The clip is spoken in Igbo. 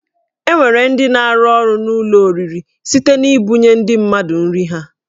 E nwere ndị na-arụ ọrụ n'ụlọ oriri site n'ibunye ndị mmadụ nri ha